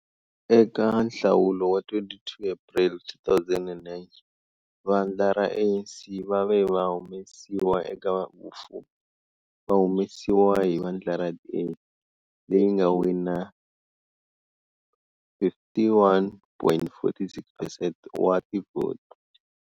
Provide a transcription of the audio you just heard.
Eka nhlawulo wa 22 April 2009 vandla ra ANC va ve va humesiwa eka vufumi va humesiwa hi vandla ra DA, leyi nga wina 51.46 percent wa tivhoti.